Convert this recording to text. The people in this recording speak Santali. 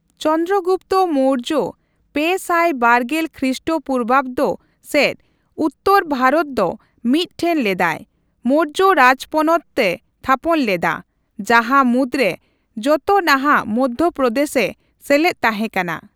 ᱪᱚᱱᱫᱨᱚ ᱜᱩᱯᱛᱚ ᱢᱳᱨᱡᱚ ᱯᱮ ᱥᱟᱭ ᱵᱟᱨᱜᱮᱞ ᱠᱷᱨᱤᱥᱴ ᱯᱩᱨᱵᱟᱵᱽᱫᱚ ᱥᱮᱪ ᱩᱛᱛᱚᱨ ᱵᱷᱟᱨᱚᱛ ᱫᱚ ᱢᱤᱫ ᱴᱷᱮᱱ ᱞᱮᱫᱟᱭ, ᱢᱳᱨᱡᱚ ᱨᱟᱡᱽᱯᱚᱱᱚᱛᱼᱮ ᱛᱷᱟᱯᱚᱱ ᱞᱮᱫᱟ, ᱡᱟᱦᱟᱸ ᱢᱩᱫ ᱨᱮ ᱡᱚᱛᱚ ᱱᱟᱦᱟᱜ ᱢᱚᱫᱽᱫᱷᱚᱯᱨᱚᱫᱮᱥ ᱮ ᱥᱮᱞᱮᱫ ᱛᱟᱸᱦᱮᱠᱟᱱᱟ ᱾